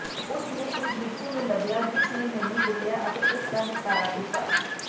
ਉਸ ਨੇ ਉਸ ਬਿੱਛੂ ਨੂੰ ਲੱਭਿਆ ਜਿਸ ਨੇ ਮੈਨੂੰ ਕੁੱਟਿਆ ਅਤੇ ਉਸ ਦਾ ਨਿਪਟਾਰਾ ਕੀਤਾ